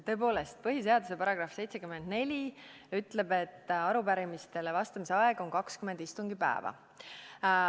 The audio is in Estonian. Tõepoolest, põhiseaduse § 74 ütleb, et arupärimistele vastamise aeg on 20 istungipäeva.